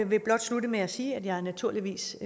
vil blot slutte med at sige at jeg naturligvis